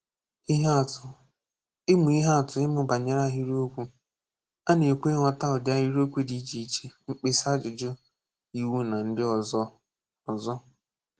Ihe atụ Ịmụ Ihe atụ Ịmụ banyere Ahịrịokwu A na-ekwu ịghọta ụdị ahirịokwu di iche iche mkpesa ajụjụ iwu na ndị ọzọ ozo.